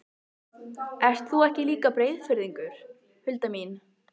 Ert þú ekki líka Breiðfirðingur, Hulda mín?